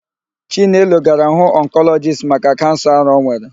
Chinelo gara hụ ọnkọlọjist maka kansa ara ọ nwere.